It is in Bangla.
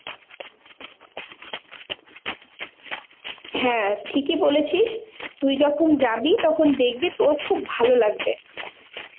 হ্যাঁ ঠিকই বলেছিস তুই যখন যাবি তখন দেখবি তোর খুব ভালো লাগবে।